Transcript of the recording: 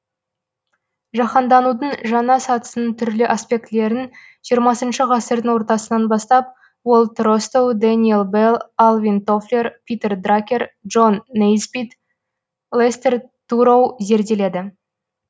жаһанданудың жаңа сатысының түрлі аспектілерін жиырмасыншы ғасырдың ортасынан бастап уолт ростоу дэниел белл алвин тофлер питер дракер джон нейсбитт лестер туроу зерделеді